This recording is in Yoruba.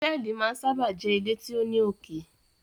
Hotẹẹli máa n sábà jé ile tí o ní oké